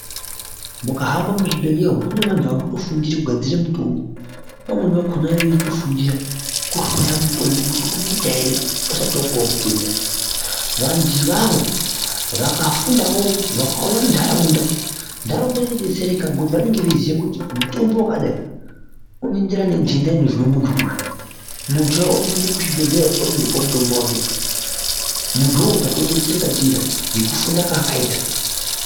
Mukahamba muzvibhehleya umu munevanhu varikutofundira kugadzire mutombo vamweni vakona veitofundira kuhloya mutombo kuti unoita ere usati wapuwa mutenda ,vantu ivavo vakafundawo vakauyawo munharaunda nharaunda inodetsereka ngekuti vanonga vachiziya kuti mutombo wakadai unoenderana ne nhende inozwe muntu uyu ,muntu uya otoende kuchibhehleya otondopuwe mutombo wake ,muntu uwowo tatodetsereka ndiye ngekufunda kwaakaita.